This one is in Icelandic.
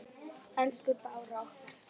Elsku Bára okkar.